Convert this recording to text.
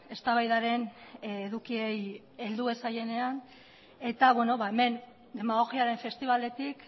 eztabaidaren edukiei heldu ez zaienean eta hemen demagogiaren festibaletik